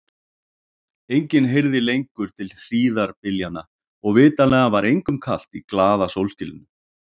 Enginn heyrði lengur til hríðarbyljanna og vitanlega var engum kalt í glaða sólskininu.